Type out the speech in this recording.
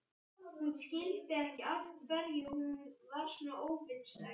Hún skildi ekki af hverju hún var svona óvinsæl.